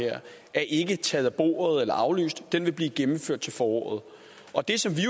ikke taget af bordet eller aflyst den vil blive gennemført til foråret og det som vi